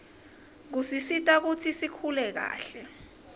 kusisita kutsi sikhule kahle